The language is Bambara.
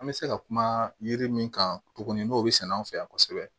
An bɛ se ka kuma yiri min kan tuguni n'o bɛ sɛnɛ an fɛ yan kosɛbɛ